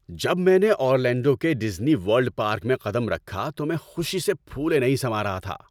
جب میں نے اورلینڈو کے ڈزنی ورلڈ پارک میں قدم رکھا تو میں خوشی سے پھولے نہیں سما رہا تھا۔